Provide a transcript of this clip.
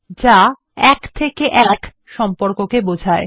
যা এক থেকে এক সম্পর্ককে বোঝায়